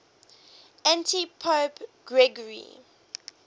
antipope gregory